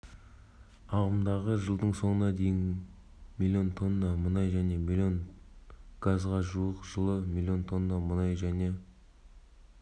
ағымдағы жылдың соңына дейін млн тонна мұнай және млн газға жуық жылы млн тонна мұнай және